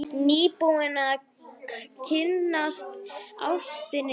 Nýbúinn að kynnast ástinni sinni.